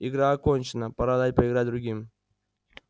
игра окончена пора дать поиграть другим